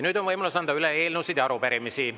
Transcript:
Nüüd on võimalus anda üle eelnõusid ja arupärimisi.